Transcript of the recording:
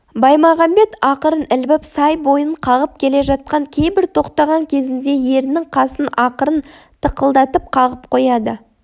баймағамбет ақырын ілбіп сай бойын қағып келе жатып кейбір тоқтаған кезінде ерінің қасын ақырын тықылдатып қағып қояды